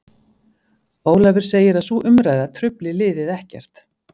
Ólafur segir að sú umræða trufli liðið ekkert.